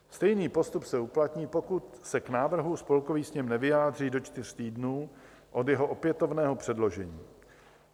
Stejný postup se uplatní, pokud se k návrhu Spolkový sněm nevyjádří do čtyř týdnů od jeho opětovného předložení.